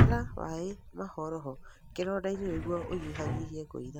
Hũthĩra maĩ mahoroho kĩronda-inĩ nĩguo ũnyihanyihie kũina.